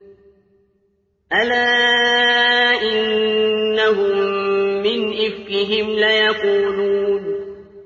أَلَا إِنَّهُم مِّنْ إِفْكِهِمْ لَيَقُولُونَ